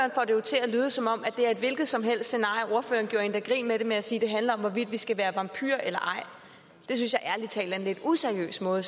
lyde som om det er et hvilket som helst scenarie ordføreren gjorde endda grin med det ved at sige at det handler om hvorvidt vi skal være vampyrer og det synes jeg ærlig talt er en lidt useriøs måde